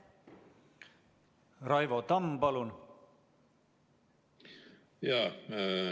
Raivo Tamm, palun!